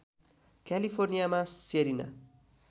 क्यालिफोर्नियामा Serena